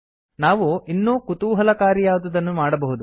ನಾವು ಇನ್ನೂ ಕುತೂಹಲಕಾರಿಯಾದುದನ್ನು ಮಾಡಬಹುದು